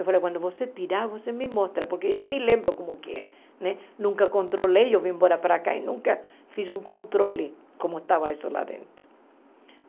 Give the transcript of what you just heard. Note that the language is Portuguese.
Eu falei, quando você tirar, você me mostra, porque eu nem lembro como que é né. Nunca controlei, eu vim embora para cá e nunca fiz um controle como estava isso lá dentro.